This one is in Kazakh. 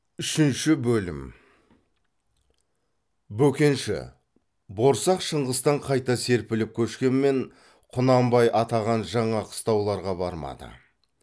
үшінші бөлім бөкенші борсақ шыңғыстан қайта серпіліп көшкенмен құнанбай атаған жаңа қыстауларға бармады